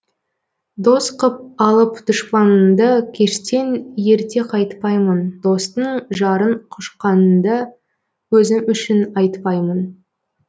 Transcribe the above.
дос қып алып дұшпаныңды кештен ерте қайтпаймын достың жарын құшқаныңды өзім үшін айтпаймын